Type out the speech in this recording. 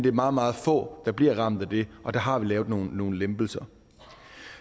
er meget meget få der bliver ramt af det og der har vi lavet nogle lempelser